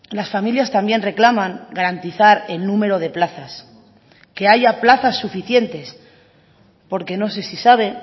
las familias también reclaman garantizar el número de plazas que haya plazas suficientes porque no sé si sabe